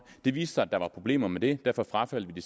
det viste sig at der var problemer med det derfor frafaldt vi